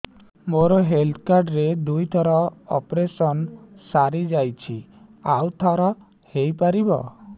ମୋର health card ରେ ଦୁଇ ଥର ଅପେରସନ ସାରି ଯାଇଛି ଆଉ ଥର ହେଇପାରିବ